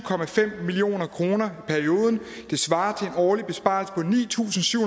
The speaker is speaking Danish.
million kroner i perioden det svarer til en årlig besparelse på ni tusind syv